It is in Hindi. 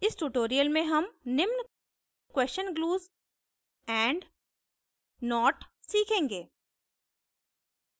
इस tutorial में हम निम्न question glues question glues and not सीखेंगे